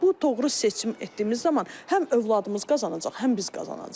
Və bu doğru seçim etdiyimiz zaman həm övladımız qazanacaq, həm biz qazanacağıq.